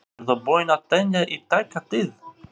Verður búið að tengja í tæka tíð?